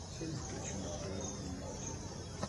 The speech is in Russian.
все ли включено в проживание в отеле